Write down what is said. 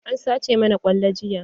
An sace mana kwallo jiya.